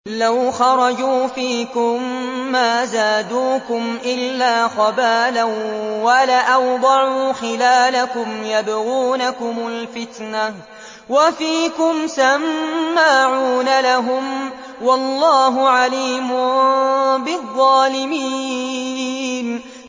لَوْ خَرَجُوا فِيكُم مَّا زَادُوكُمْ إِلَّا خَبَالًا وَلَأَوْضَعُوا خِلَالَكُمْ يَبْغُونَكُمُ الْفِتْنَةَ وَفِيكُمْ سَمَّاعُونَ لَهُمْ ۗ وَاللَّهُ عَلِيمٌ بِالظَّالِمِينَ